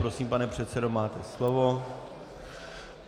Prosím, pane předsedo, máte slovo.